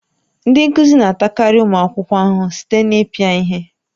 Ndị nkuzi na-atakarị ụmụ akwụkwọ ahụhụ site na ịpịa ihe